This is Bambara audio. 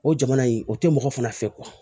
O jamana in o tɛ mɔgɔ fana fɛ